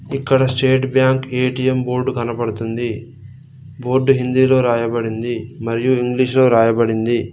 ఇక్కడ State Bank ATM board కనబడుతుంది board హిందీలో రాయబడింది మరియు ఇంగ్లీషులో రాయబడింది.